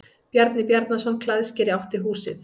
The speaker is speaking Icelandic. Bjarni Bjarnason klæðskeri átti húsið.